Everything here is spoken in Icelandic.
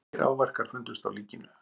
Engir áverkar fundust á líkinu